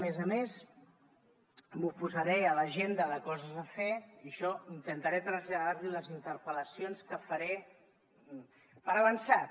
a més a més m’ho posaré a l’agenda de coses a fer i això intentaré traslladar li les interpel·lacions que faré per avançat